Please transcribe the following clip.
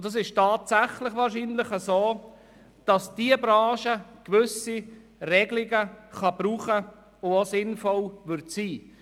– Es ist wohl tatsächlich so, dass gewisse Regelungen für diese Branche sinnvoll sein können.